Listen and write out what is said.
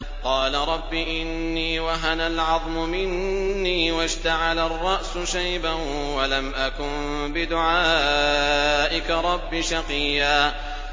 قَالَ رَبِّ إِنِّي وَهَنَ الْعَظْمُ مِنِّي وَاشْتَعَلَ الرَّأْسُ شَيْبًا وَلَمْ أَكُن بِدُعَائِكَ رَبِّ شَقِيًّا